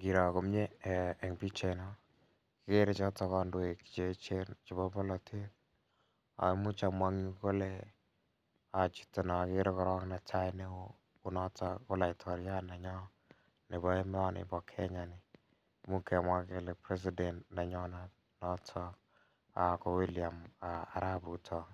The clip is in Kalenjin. kikro komie en pichait ni kikere choto kandoik cheechen chebo polatet. Amuche amwa ale ikere chito ko laitoriat nenyon nebo emoni ba Kenya ni. Amuun kemwa kele president nenyon ko William arap Ruto